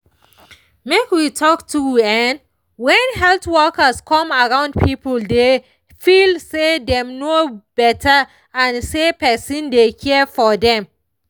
make we talk true[um]when health workers come around people dey feel say dem know better and say person dey care for dem